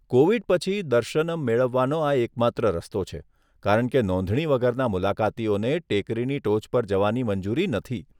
Covid પછી, દર્શનમ મેળવવાનો આ એકમાત્ર રસ્તો છે, કારણ કે નોંધણી વગરના મુલાકાતીઓને ટેકરીની ટોચ પર જવાની મંજૂરી નથી.